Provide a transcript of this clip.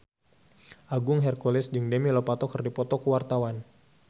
Agung Hercules jeung Demi Lovato keur dipoto ku wartawan